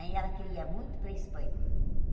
Aí ela queria muito ir para Espanha.